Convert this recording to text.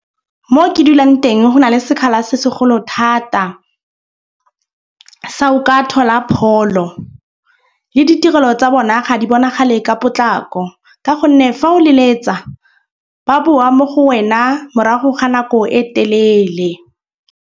Mo ke dulang teng go na le sekgala se segolo thata sa ho ka thola pholo le ditirelo tsa bona ga di bonagale ka potlako. Ka gonne fa o leletsa ba boa mo go wena morago ga nako e telele.